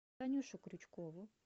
танюшу крючкову